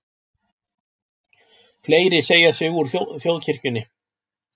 Fleiri segja sig úr þjóðkirkjunni